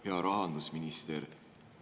Hea rahandusminister!